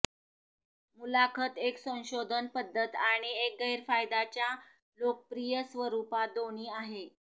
मुलाखत एक संशोधन पद्धत आणि एक गैरफायदाच्या लोकप्रिय स्वरूपात दोन्ही आहे